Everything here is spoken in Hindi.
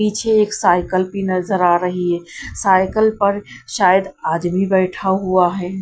पीछे एक साइकल भी नजर आ रही है साइकल पर शायद आदमी बैठा हुआ है।